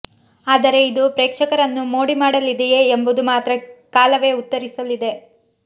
ಆದರೆ ಇದು ಪ್ರೇಕ್ಷಕರನ್ನು ಮೋಡಿ ಮಾಡಲಿದೆಯೇ ಎಂಬುದು ಮಾತ್ರ ಕಾಲವೇ ಉತ್ತರಿಸಲಿದೆ